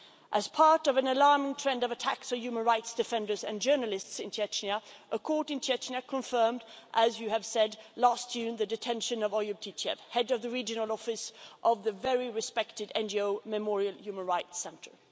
As part of an alarming trend of attacks on human rights defenders and journalists in Chechnya, a court in Chechnya confirmed, as you have said, last June the detention of Oyub Titiev, head of the regional office of the very respected NGO Memorial human rights centre.